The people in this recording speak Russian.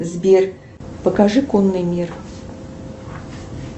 сбер покажи конный мир